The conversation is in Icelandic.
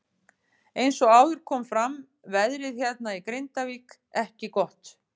Eins og áður kom fram veðrið hérna í Grindavík ekki gott.